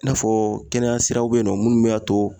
I n'a fɔ kɛnɛya siraw be yen nɔ munnu b'a to